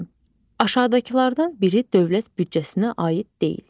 İkinci, aşağıdakılardan biri dövlət büdcəsinə aid deyil.